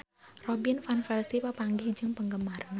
Robin Van Persie papanggih jeung penggemarna